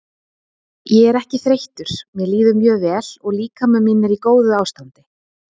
Ég er ekki þreyttur mér líður mjög vel og líkami minn er í góðu ástandi.